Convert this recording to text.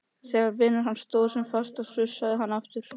Þegar vinur hans stóð sem fastast sussaði hann aftur.